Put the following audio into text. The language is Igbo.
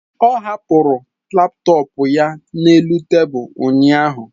Ọ hapụrụ laptọọpụ ya na tebụl ụnyaahụ.